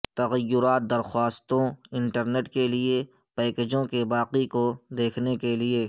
تغیرات درخواستوں انٹرنیٹ کے لئے پیکجوں کے باقی کو دیکھنے کے لئے